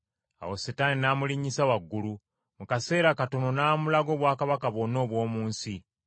Awo Setaani n’amulinnyisa waggulu, mu kaseera katono n’amulaga obwakabaka bwonna obw’omu nsi.